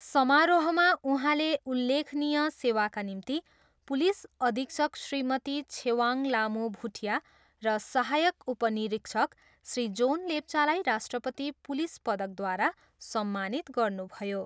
समारोहमा उहाँले उल्लेखनीय सेवाका निम्ति पुलिस अधीक्षक श्रीमती छेवाङ लामू भूटिया र सहायक उपनिरिक्षक श्री जोन लेप्चालाई राष्ट्रपति पुलिस पदकद्वारा सम्मानित गर्नुभयो।